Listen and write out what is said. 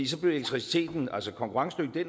så blev elektriciteten konkurrencedygtig